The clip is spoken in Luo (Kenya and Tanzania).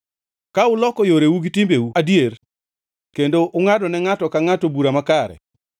Ka uloko yoreu gi timbeu adier kendo ungʼadone ngʼato ka ngʼato bura makare,